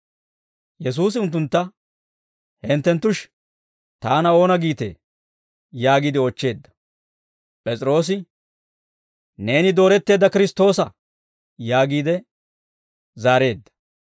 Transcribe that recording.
Yesuusi unttuntta, «Hintteshi taana oona giitee?» yaagiide oochcheedda. P'es'iroosi, «Neeni Dooretteedda Kiristtoosa» yaagiide zaareedda.